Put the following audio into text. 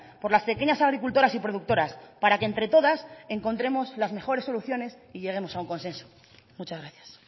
por las pequeñas agricultoras y productoras para que entre todas encontremos las mejores soluciones y lleguemos a un consenso muchas gracias